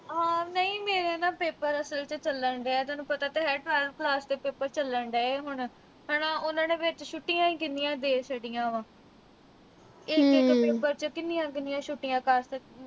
ਅਮ ਨਹੀਂ ਮੇਰੇ ਨਾ ਅਹ paper ਅਸਲ ਚ ਚੱਲਣ ਡਏ ਆ ਹੁਣ। ਤੈਨੂੰ ਪਤਾ ਤਾਂ ਹੈ third semester ਦੇ paper ਚੱਲਣ ਡਏ ਆ ਹੁਣ, ਹਨਾ। ਉਨ੍ਹਾਂ ਨੇ ਵਿੱਚ ਛੁੱਟੀਆਂ ਹੀ ਕਿੰਨੀਆਂ ਦੇ ਛੱਡੀਆਂ ਵਾ। ਇੱਕ-ਇੱਕ paper ਚ ਕਿੰਨੀਆਂ ਕਿੰਨੀਆਂ ਛੁੱਟੀਆਂ ਕਰ ਅਹ